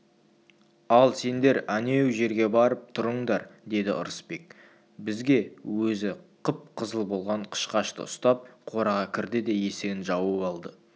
ал сендер әнеу жерге барып тұрыңдар деді ырысбек бізге өзі қып-қызыл болған қышқашты ұстап қораға кірді де есігін жауып алды